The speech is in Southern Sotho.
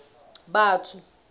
batho